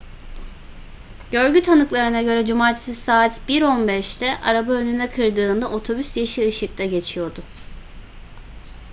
görgü tanıklarına göre cumartesi saat 01:15'te araba önüne kırdığında otobüs yeşil ışıkta geçiyordu